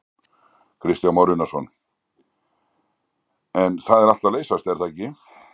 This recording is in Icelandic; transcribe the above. Kristján Már Unnarsson: En það er allt að leysast er það ekki?